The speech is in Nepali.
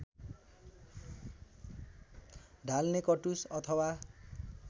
ढाल्ने कटुस अथवा